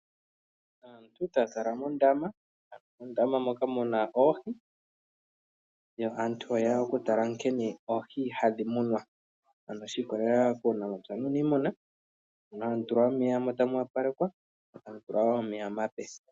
Aantu oyali taya tala mondama mondama moka muna oohi yo aantu oyeya oku tala nkene oohi hadhi munwa shi ikolela kuunamapya nuuniimuna ano tamu tulwa omeya omape.